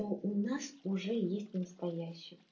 у нас уже есть настоящие